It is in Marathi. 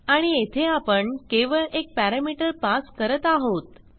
आणि येथे आपण केवळ एक पॅरामीटर पास करत आहोत